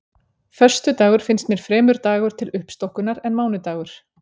Föstudagur finnst mér fremur dagur til uppstokkunar en mánudagur.